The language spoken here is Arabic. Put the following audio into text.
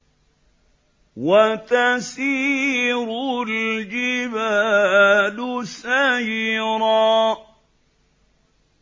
وَتَسِيرُ الْجِبَالُ سَيْرًا